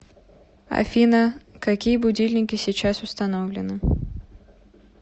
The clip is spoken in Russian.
афина какие будильники сейчас установлены